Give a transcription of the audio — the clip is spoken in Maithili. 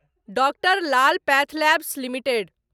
doctor Lal path labs limited